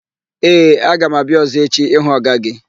Ee, aga m abịa ọ̀zọ́ echi ịhụ ọga gị.